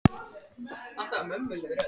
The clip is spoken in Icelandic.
Hafðu slökkt elskan mín, sagði hún.